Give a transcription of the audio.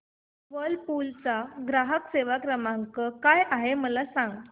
Whirlpool चा ग्राहक सेवा क्रमांक काय आहे मला सांग